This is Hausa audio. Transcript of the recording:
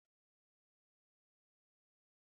Hanya ɗaya don yin magana da ƙarfi ita ce yi musu tsawa.